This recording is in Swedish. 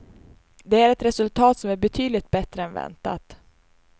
Det är ett resultat som är betydligt bättre än väntat.